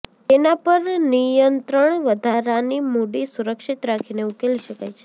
તેના પર નિયંત્રણ વધારાની મૂડી સુરક્ષિત રાખીને ઉકેલી શકાય છે